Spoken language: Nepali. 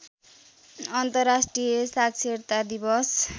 अन्तर्राष्ट्रिय साक्षरता दिवस